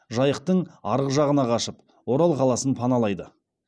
жайықтың арғы жағына қашып орал қаласын паналайды